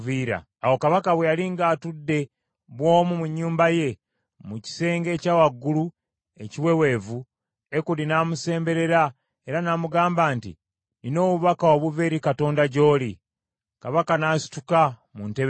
Awo kabaka bwe yali ng’atudde bw’omu mu nnyumba ye, mu kisenge ekya waggulu ekiweweevu, Ekudi n’amusemberera era n’amugamba nti, “Nnina obubaka obuva eri Katonda gy’oli.” Kabaka n’asituka mu ntebe ye.